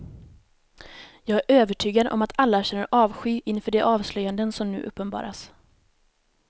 Jag är övertygad om att alla känner avsky inför de avslöjanden som nu uppenbaras.